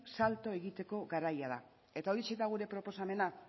salto egiteko garaia da eta horixe da gure proposamena